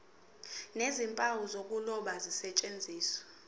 nezimpawu zokuloba zisetshenziswe